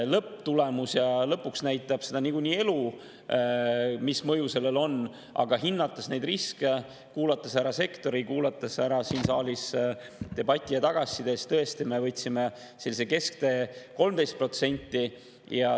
Lõpptulemus ja lõpuks niikuinii elu näitavad seda, mis mõju sellel on, aga hinnates neid riske, kuulates ära sektori, kuulates ära siin saalis debati ja tagasiside, siis tõesti, me võtsime sellise kesktee: 13%.